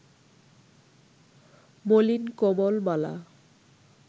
মলিন কমল-মালা